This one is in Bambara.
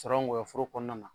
Cɔrɔ nkɔyɔ foro kɔɔna na